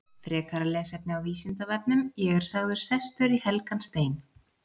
Frekara lesefni á Vísindavefnum: Ég er sagður sestur í helgan stein.